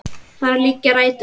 Þar liggja rætur okkar.